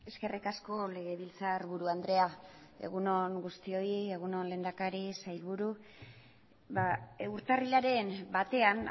eskerrik asko legebiltzarburu andrea egun on guztioi egun on lehendakari sailburu urtarrilaren batean